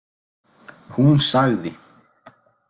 Hún sagði.